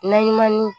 Naɲuman ni